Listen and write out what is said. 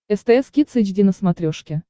стс кидс эйч ди на смотрешке